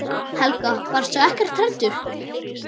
Helga: Varstu ekkert hræddur?